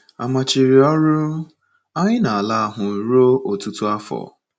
A machiri ọrụ anyị n’ala ahụ ruo ọtụtụ afọ.